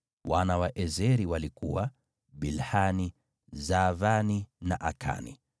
Wana wa Eseri walikuwa: Bilhani, Zaavani na Akani.